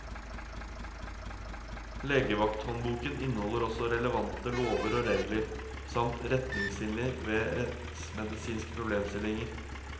Legevakthåndboken inneholder også relevante lover og regler, samt retningslinjer ved rettsmedisinske problemstillinger.